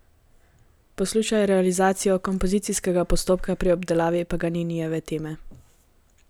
Poslušaj realizacijo kompozicijskega postopka pri obdelavi Paganinijeve teme.